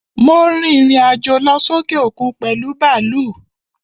Mo rìrìn àjò lọ sókè òkun pèlú bàlúù.